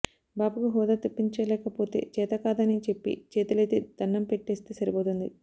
బాబుకు హోదా తెప్పించలేకపోతే చేతకాదని చెప్పి చేతులెత్తి దణ్ణం పెట్టేస్తే సరిపోతుంది